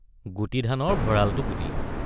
গুটি ধানৰ ভঁড়ালটো বুলি।